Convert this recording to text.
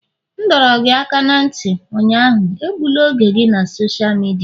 M dọrọ gị aka ná ntị ụnyaahụ, egbula oge gị na sosha midia!